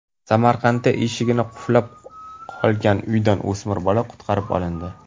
Samarqandda eshigi qulflanib qolgan uydan o‘smir bola qutqarib olindi.